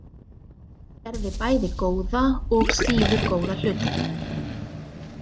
Gerði bæði góða og síður góða hluti.